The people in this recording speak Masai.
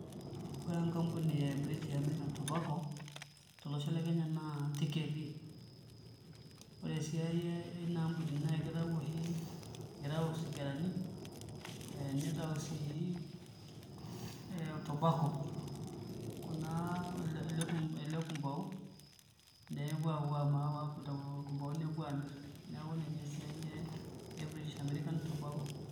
Ore enkampuni e British American Tobacco tolosho le Kenya naa Thika etii ore esiai ina ampuni naa kitau oshi kitau isigarani, nitau sii ee tobacco ele kumbau nepuoo aitau orkumbau nepuo aamirr neeku ninye esiai e British American Tobacco.